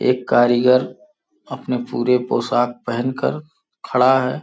एक कारीगर अपने पूरे पोशाक पहनकर खड़ा है।